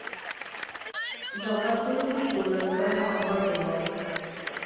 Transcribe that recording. জগতগুৰু বুলি গৌৰৱ কৰা শংকৰদেৱক